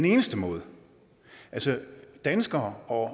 eneste måde altså danskere og